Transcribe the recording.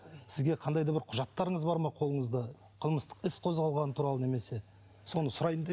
сізге қандай да бір құжаттарыңыз бар ма қолыңызда қылмыстық іс қозғалғаны туралы немесе соны сұрайын деп